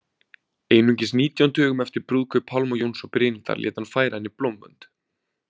Einungis nítján dögum eftir brúðkaup Pálma Jóns og Brynhildar lét hann færa henni blómvönd